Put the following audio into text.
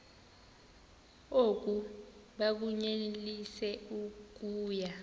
oku bakunyelise okuya